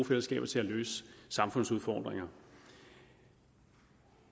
fællesskaber til at løse samfundsudfordringer